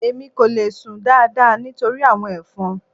Èmi kò le sùn dáadáa nítorí àwọn ẹ̀fọn.